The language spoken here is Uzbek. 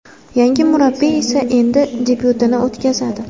Yangi murabbiy esa endi debyutini o‘tkazadi.